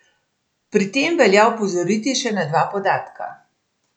Pri tem velja opozoriti še na dva podatka.